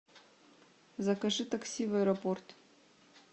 закажи такси в аэропорт